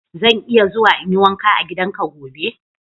Zan iya zuwa in yi wanka a gidanka gobe?